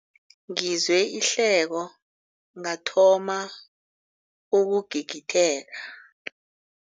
Ngizwe ihleko ngathoma ukugigitheka.